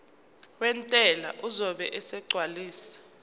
wentela uzobe esegcwalisa